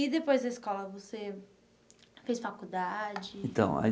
E depois da escola você fez faculdade? Então aí